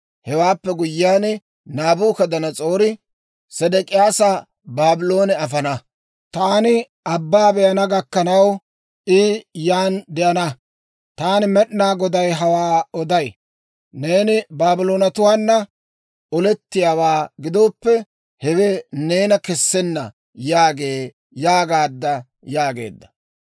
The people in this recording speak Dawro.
Hewaappe guyyiyaan, Naabukadanas'oori Sedek'iyaasa Baabloone afana; taani aabaa be'ana gakkanaw, I yaan de'ana. Taani Med'inaa Goday hawaa oday. Neeni Baabloonetuwaana olettiyaawaa gidooppe, hewe neena kessenna yaagee› yaagaadda» yaageedda.